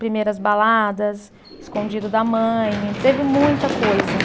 Primeiras baladas, escondido da mãe, teve muita coisa.